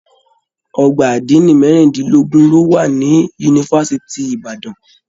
Ọgbà adini merindinlogun lo wà ní yunifásítì Ìbàdàn.